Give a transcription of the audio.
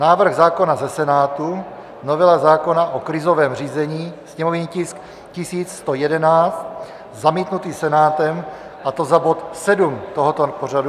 Návrh zákona ze Senátu - novela zákona o krizovém řízení, sněmovní tisk 1111 zamítnutý Senátem, a to za bod 7 tohoto pořadu.